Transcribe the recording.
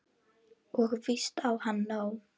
Og víst á hann nóg.